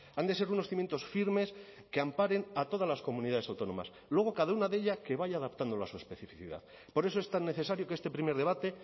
han de ser unos cimientos firmes que amparen a todas las comunidades autónomas luego cada una de ellas que vaya adaptándola a su especificidad por eso es tan necesario que este primer debate